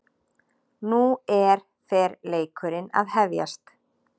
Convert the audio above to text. Nú er fer leikurinn að hefjast